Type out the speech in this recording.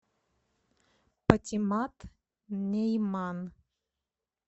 патимат нейман